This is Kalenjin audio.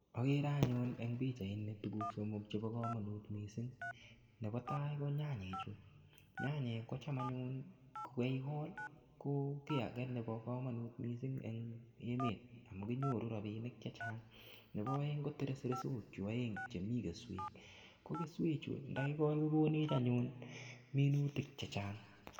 Agere anyun eng pichainik tukuk somok chebo komonut missing nebo tai ko nyanyechu, nyanyek ko cham anyun kokeikol ko kiy nebo komonut missing eng emet amu kinyoru ropinik che chang nebo oeng ko teresresochu oeng chemi keswek ko keeechu ndakikol kokonech anyun minutik che chang.